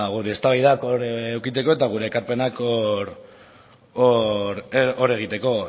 ba gure eztabaidak hor edukitzeko eta gure ekarpenak hor egiteko